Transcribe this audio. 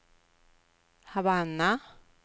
Havanna